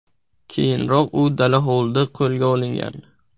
Keyinroq u dala hovlida qo‘lga olingan.